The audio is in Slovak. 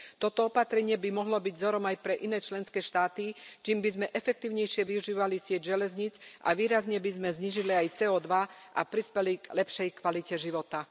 Toto opatrenie by mohlo byť vzorom aj pre iné členské štáty, čím by sme efektívnejšie využívali sieť železníc, výrazne by sme znížili aj CO2 a prispeli k lepšej kvalite života.